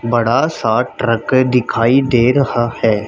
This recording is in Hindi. बड़ा सा ट्रक दिखाई दे रहा है।